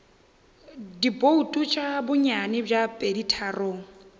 dibouto tša bonnyane bja peditharong